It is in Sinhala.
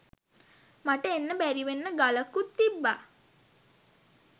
මට එන්න බැරි වෙන්න ගලකුත් තිබ්බා